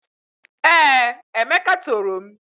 Ee, Emeka toro m.